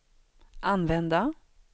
använda